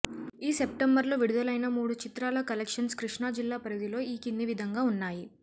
ఈ సెప్టెంబర్లో విడుదలైన మూడు చిత్రాల కలెక్షన్స్ కృష్ణా జిల్లా పరిధిలో ఈ కింది విధంగా ఉన్నాయి